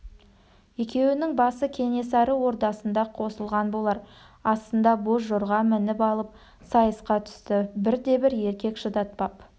екеуінің басы кенесары ордасында қосылған болар астына боз жорға мініп алып сайысқа түсті бірде-бір еркек шыдатпап